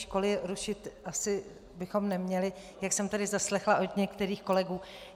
Školy rušit asi bychom neměli, jak jsem tady zaslechla od některých kolegů.